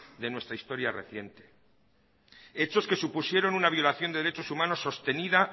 de nuestra historia reciente hechos que supusieron una violación de derechos humanos sostenida